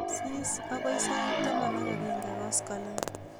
Sis akoi sait taman ak akenge koskolik